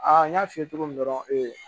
n y'a f'i ye cogo min dɔrɔn